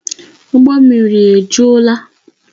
Ụgbọ mmiri a ejuola?